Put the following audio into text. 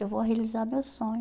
Eu vou realizar meu sonho.